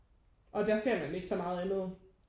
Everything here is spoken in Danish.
Og der ser man ikke så meget andet